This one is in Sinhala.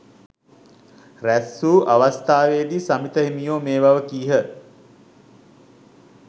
රැස්වූ අවස්ථාවේදී සමිත හිමියෝ මේ බව කීහ.